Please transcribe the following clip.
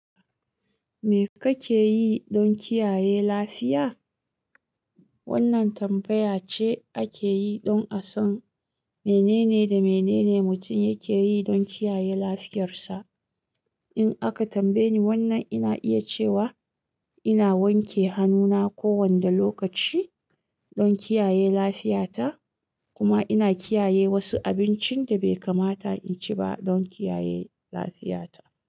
Me kake yi don kiyaye lafiya? Wannan tambaya ce ake yi don a san menene da menene mutum yake yi don kiyaye lafiyarsa. In aka tambaye ni wannan, ina iya cewa ina wanke hannuna kowane lokaci don kiyaye lafiyata, kuma ina kiyaye wasu abincin da bai kamata in ci ba don kiyaye lafiyata.